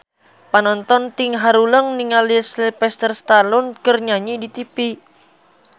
Panonton ting haruleng ningali Sylvester Stallone keur nyanyi di tipi